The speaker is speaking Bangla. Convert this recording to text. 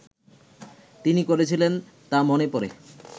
তিনি করেছিলেন তা মনে পড়ে